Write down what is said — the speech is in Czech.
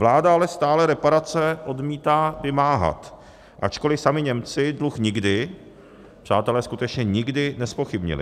Vláda ale stále reparace odmítá vymáhat, ačkoli sami Němci dluh nikdy, přátelé, skutečně nikdy nezpochybnili.